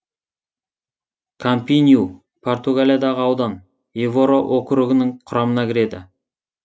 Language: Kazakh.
кампинью португалиядағы аудан эвора округінің құрамына кіреді